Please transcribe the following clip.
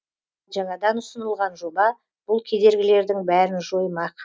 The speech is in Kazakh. жаңадан ұсынылған жоба бұл кедергілердің бәрін жоймақ